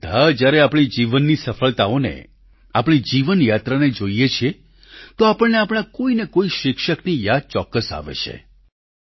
આપણે બધા જ્યારે આપણા જીવનની સફળતાઓને આપણી જીવનયાત્રાને જોઈએ છીએ તો આપણને આપણા કોઈને કોઈ શિક્ષકની યાદ ચોક્કસ આવે છે